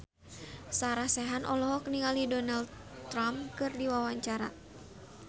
Sarah Sechan olohok ningali Donald Trump keur diwawancara